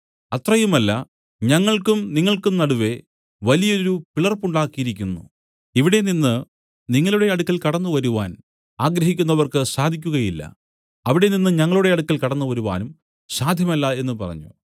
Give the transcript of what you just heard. അത്രയുമല്ല ഞങ്ങൾക്കും നിങ്ങൾക്കും നടുവെ വലിയൊരു പിളർപ്പുണ്ടാക്കിയിരിക്കുന്നു ഇവിടെ നിന്നു നിങ്ങളുടെ അടുക്കൽ കടന്നുവരുവാൻ ആഗ്രഹിക്കുന്നവർക്ക് സാധിക്കുകയില്ല അവിടെനിന്ന് ഞങ്ങളുടെ അടുക്കൽ കടന്നു വരുവാനും സാധ്യമല്ല എന്നു പറഞ്ഞു